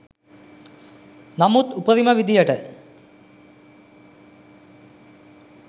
නමුත් උපරිම විදියට